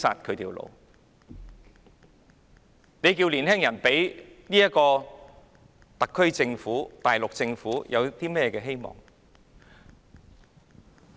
試問年輕人怎會對特區政府和大陸政府有希望？